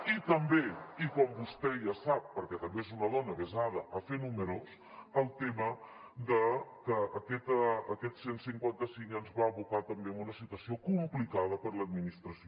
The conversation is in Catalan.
i també i com vostè ja sap perquè també és una dona avesada a fer números el tema de que aquest cent i cinquanta cinc ens va abocar també a una situació complicada per a l’administració